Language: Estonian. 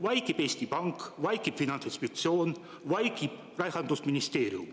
Vaikib Eesti Pank, vaikib Finantsinspektsioon, vaikib Rahandusministeerium.